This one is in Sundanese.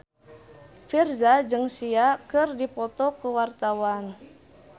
Virzha jeung Sia keur dipoto ku wartawan